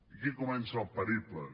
aquí comença el periple